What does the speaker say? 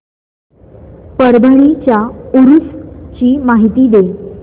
परभणी च्या उरूस ची माहिती दे